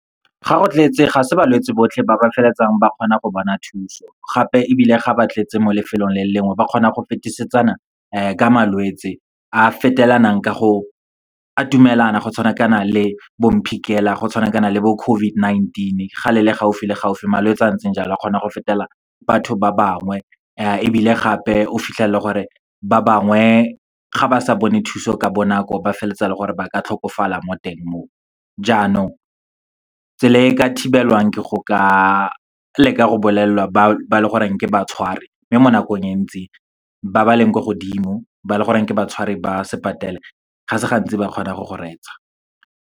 Ga go tletse, ga se balwetsi botlhe ba ba feleletsang ba kgona go bona thuso. Gape ebile, ga ba tletse mo lefelong le le lengwe, ba kgona go fetisetsana ka malwetsi, a fetelanang ka go atumelana. Go tshwanakana le bo mphikela, go tshwanakana le bo COVID-19. Ga le le gaufi le gaufi, malwetsi a a ntseng jalo a kgona go fetelana batho ba bangwe. Ebile gape, o fitlhela e le gore, ba bangwe ga ba sa bone thuso ka bonako, ba feleletsa e le gore ba ka tlhokofala mo teng mo. Jaanong, tsela e ka thibelwang ke go ka leka go bolelela ba e leng gore ke ba tshwari. Mme mo nakong e ntsi, ba ba leng ko godimo ba leng gore ke ba tshwari ba , ga se gantsi ba kgona go go reetsa.